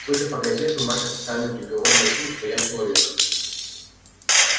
судя по газетам ваш официальный приговор гласил что я человек